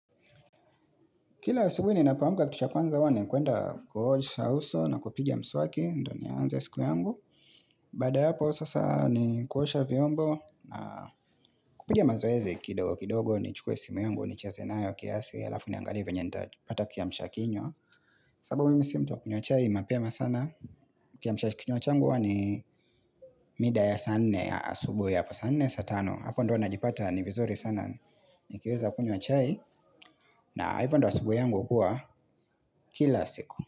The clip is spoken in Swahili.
Kila asubuhi ninapoamka kittu cha kwanza huwa ni kuenda kuhosha uso na kupigia mswaki, ndio nianze siku yangu. Baada ya hapo sasa ni kuosha vyombo na kupiga mazoezi kidogo kidogo, nichukuwe simu yangu, nicheze nayo, kiasi, alafu niangalie venye nitapata kiamshakinywa. Sababu mi si mtu wa kunywa chai mapema sana. Kiamshakinywa changu huwa ni mida ya saa nne ya asubuhi hapa saa nne, saa tano. Hapo ndio huwa najipata ni vizuri sana nikiweza kunywa chai na hivyo ndo asubuhi yangu hukua kila siku.